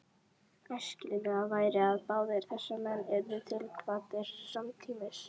Æskilegast væri, að báðir þessir menn yrðu tilkvaddir samtímis.